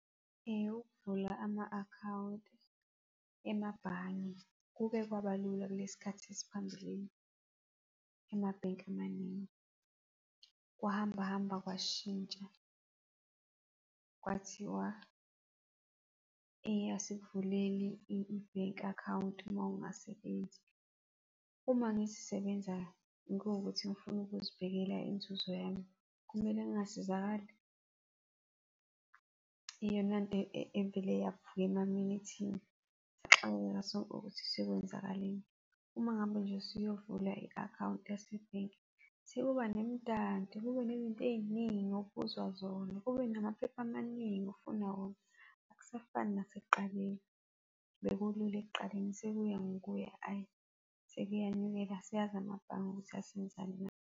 Ukuvula ama-akhawunti emabhange kuke kwabalula kulesikhathi esiphambili, ema-bank amaningi. Kwahamba hamba kwashintsha, kwathiwa asikuvuleli i-bank account uma ungasebenzi. Uma ngizisebenza ngiwukuthi ngifuna ukuzibhekela inzuzo yami, kumele ngingasizakali? Iyona nto evele yavukela ukuthi sekwenzakaleni. Uma ngabe nje usuyovula i-akhawunti yase-bank, sekuba nemidanti, kube nezinto eziningi obuzwa zona, kube namaphepha amaningi ofunwa wona. Akusafani nasekuqaleni, bekulula ekuqaleni sekuya ngokuya sekuyanyukela. Asazi amabhange ukuthi asenzani .